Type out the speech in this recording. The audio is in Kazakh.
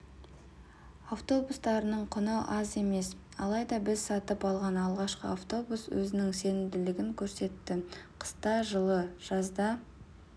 автобустарының құны аз емес алайда біз сатып алған алғашқы автобус өзінің сенімділігін көрсетті қыста жылы жазда